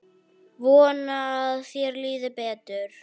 Vona að þér líði betur.